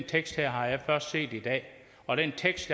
tekst har jeg først set i dag og den tekst